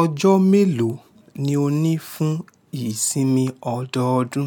Ọjọ́ mélòó ni o ní fún ìsinmi ọdọọdún?